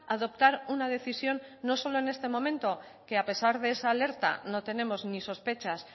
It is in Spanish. adoptar una decisión no solo en este momento que a pesar de esa alerta no tenemos ni sospechas